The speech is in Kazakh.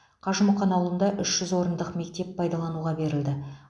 қажымұқан ауылында үш жүз орындық мектеп пайдалануға берілді